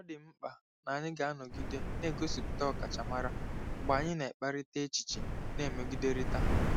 Ọ dị m mkpa na anyị ga-anọgide na-egosipụta ọkachamara mgbe anyị na-ekparịta echiche na-emegiderịta.